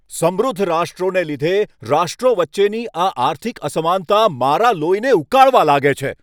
સમૃદ્ધ રાષ્ટ્રોને લીધે રાષ્ટ્રો વચ્ચેની આ આર્થિક અસમાનતા મારા લોહીને ઉકાળવા લાગે છે.